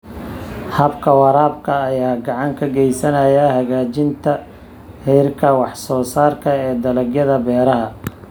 Habka waraabka ayaa gacan ka geysanaya hagaajinta heerarka wax soo saarka ee dalagyada beeraha.